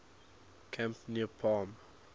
camp near palm